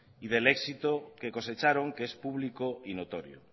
y del éxito que cosecharon que es público y notorio